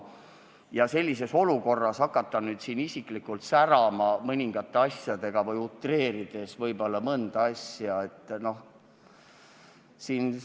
Ja sellises olukorras hakata nüüd siin isiklikult särama mõningate asjadega või midagi utreerida vahest ei maksa.